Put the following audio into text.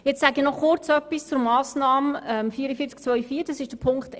Nun sage ich noch kurz etwas zur Massnahme 44.2.4, das heisst zu Ziffer 1.